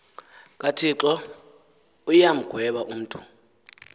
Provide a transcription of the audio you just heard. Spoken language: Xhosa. kathixo uyamgweba umntu